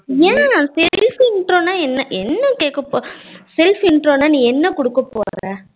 ஏன் self intro நா என்ன என்ன கேக்க போற self intro நா நீ என்ன குடுக்க போற